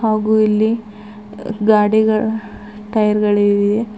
ಹಾಗು ಇಲ್ಲಿ ಗಾಡಿಗಳ ಟಯರ್ ಗಳಿವೆ.